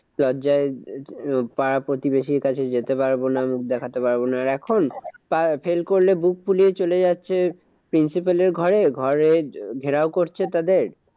লজ্জায় পাড়াপ্রতিবেশীর কাছে যেতে পারবো না মুখ দেখাতে পারবো না। আর এখন fail করলে বুক ফুলিয়ে চলে যাচ্ছে principal এর ঘরে। ঘরে ঘেরাও করছে তাদের